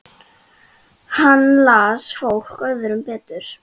Hann las fólk öðrum betur.